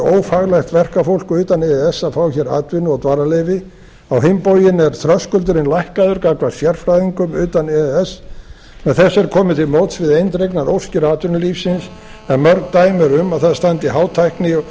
ófaglært verkafólk utan e e s að fá hér atvinnu og dvalarleyfi á hinn bóginn er þröskuldurinn lækkaður gagnvart sérfræðingum utan e e s með þessu er komið til móts við eindregnar óskir atvinnulífsins en mörg dæmi eru um að það standi hátækni og